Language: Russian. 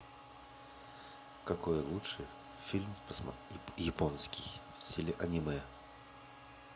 какой лучше фильм посмотреть японский в стиле аниме